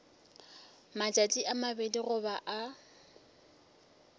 matšatši a mabedi goba a